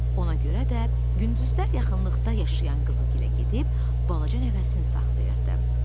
Ona görə də gündüzlər yaxınlıqda yaşayan qızı gilə gedib balaca nəvəsini saxlayırdı.